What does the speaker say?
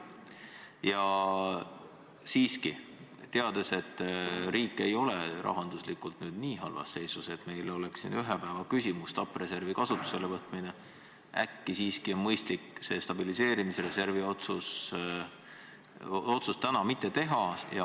Ja teades, et riik ei ole rahanduslikult nii halvas seisus, et stabiliseerimisreservi kasutusele võtmine oleks ühe päeva küsimus, siis äkki oleks mõistlik jätta stabiliseerimisreservi otsus täna tegemata.